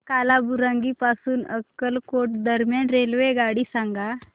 कालाबुरागी पासून अक्कलकोट दरम्यान रेल्वेगाडी सांगा